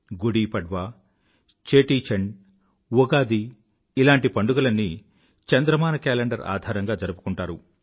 గుడీపడ్వా చేటీచండ్ ఉగాది ఇలాంటి పండుగలన్నీ చంద్రమాన కేలెండర్ ఆధారంగా జరుపుకుంటారు